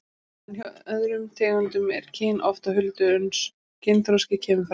En hjá öðrum tegundum er kyn oft á huldu uns kynþroski kemur fram.